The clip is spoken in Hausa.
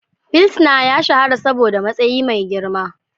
Pilsnar ya shahara saboda matsayi mai girma